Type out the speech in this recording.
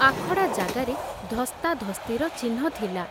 ଆଖଡ଼ା ଜାଗାରେ ଧସ୍ତାଧସ୍ତିର ଚିହ୍ନ ଥିଲା।